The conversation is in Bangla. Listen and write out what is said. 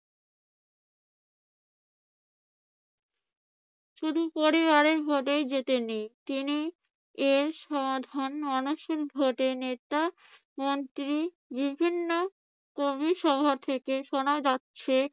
শুধু পরিবারের ভোটেই জেতেনি, তিনি এর সমাধান মানুষের ভোটে নেতা মন্ত্রী বিভিন্ন কবি সভা থেকে শোনা যাচ্ছে।